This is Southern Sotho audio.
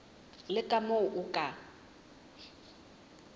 le ka moo o ka